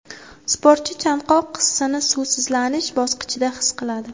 Sportchi chanqoq hissini suvsizlanish bosqichida his qiladi.